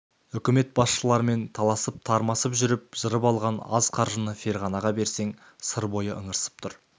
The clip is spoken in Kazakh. үкімет басшыларымен таласып-тармасып жүріп жырып алған аз қаржыны ферғанаға берсең сыр бойы ыңырсып тұр